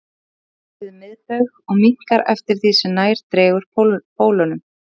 Hann er stærstur við miðbaug og minnkar eftir því sem nær dregur pólunum.